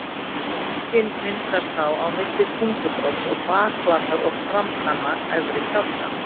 Öngin myndast þá á milli tungubrodds og bakflatar og framtanna efri kjálka.